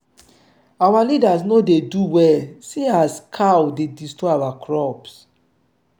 our leader no dey do well see as cow dey destroy our crops.